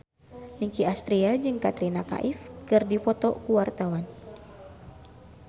Nicky Astria jeung Katrina Kaif keur dipoto ku wartawan